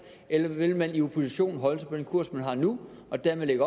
eller vil man i opposition holde sig på den kurs man har nu og dermed